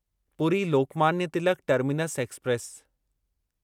Puri Lokmanya Tilak terminus express